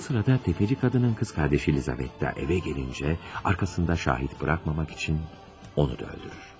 Bu sırada təfəci qadının qız qardaşı Lizavetta evə gəlincə, arxasında şahid buraxmamaq üçün onu da öldürür.